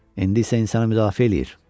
İndi isə insanı müdafiə eləyir.